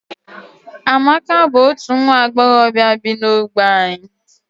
Amaka bu otu nwa Agbogobia bu na-ogbe anyi.